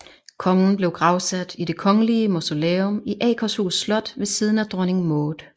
Kongen blev gravsat i Det Kongelige Mausoleum i Akershus Slot ved siden af Dronning Maud